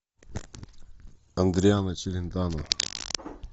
адриано челентано